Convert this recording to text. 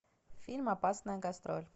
фильм опасная гастроль